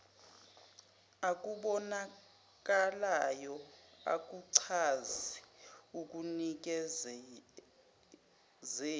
okubonakalayo akuchazi ekunikezeni